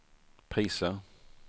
priser